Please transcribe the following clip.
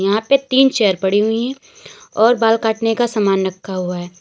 यहां पे तीन चेयर पड़ी हुई है और बाल काटने का सामान रखा हुआ है।